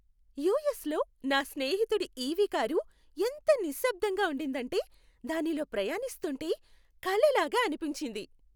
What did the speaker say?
యూఎస్లో నా స్నేహితుడి ఈవీ కారు ఎంత నిశ్శబ్దంగా ఉండిందంటే దానిలో ప్రయాణిస్తుంటే కలలాగా అనిపించింది.